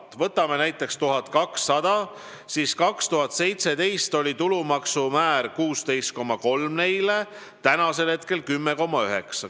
Võtame brutopalga näiteks 1200 eurot: aastal 2017 kujunes nende tulumaksu määraks 16,3%, praegu on 10,9%.